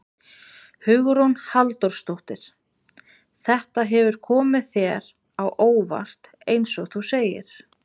Hugrún Halldórsdóttir: Þetta hefur komið þér á óvart eins og þú segir?